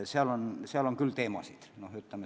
Seal on palju teemasid.